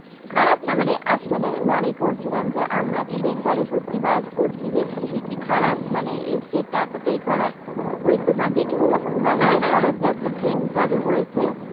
খারাপ না মানে actually আমি মনে করছিলাম যে, আমরা কি বেঙ্গলি সত্যি বাস করছি? যে খুবই কি খারাপ মানে এই state টা এতটাই খারাপ? ঐ তোমার দেখেছো যে বন্দে ভারত একটা train চালু হয়েছে।